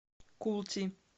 култи